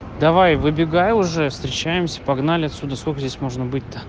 давай выбегай уже встречаемся погнали отсюда сколько здесь можно быть то